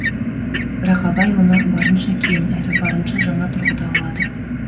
бірақ абай оны барынша кең әрі барынша жаңа тұрғыда алады